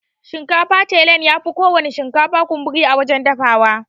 Shinkafan tailan yafi kowana shinkafa kunburi a wajan dafawa.